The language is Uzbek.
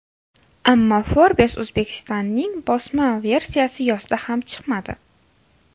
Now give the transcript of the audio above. Ammo Forbes Uzbekistan’ning bosma versiyasi yozda ham chiqmadi.